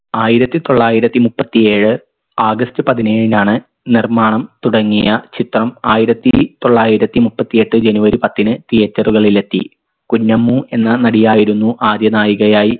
ആയിരത്തി തൊള്ളായിരത്തി മുപ്പത്തി ഏഴ് ആഗസ്ത് പതിനേഴിനാണ് നിർമ്മാണം തുടങ്ങിയ ചിത്രം ആയിരത്തി തൊള്ളായിരത്തി മുപ്പത്തിയെട്ട് ജനുവരി പത്തിന് theatre കളിൽ എത്തി കുഞ്ഞമ്മു എന്ന നടിയായിരുന്നു ആദ്യ നായികയായി